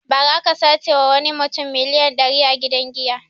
Ba ra aka sace ma wani mutum miliyan dari a gidan giya